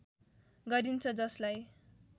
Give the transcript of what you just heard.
गरिन्छ जसलाई